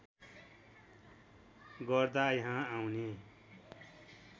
गर्दा यहाँ आउने